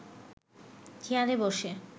চেয়ারে বসে